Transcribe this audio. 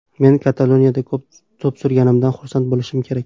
Men Kataloniyada to‘p surganimdan xursand bo‘lishim kerak.